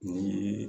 Ni